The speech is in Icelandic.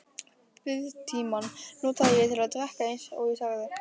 Biðtímann notaði ég til að drekka eins og ég sagði.